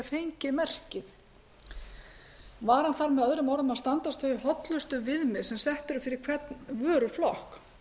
fengið merkið varan þarf með öðrum orðum að standast hollustuviðmið sem sett eru fyrir hvern vöruflokk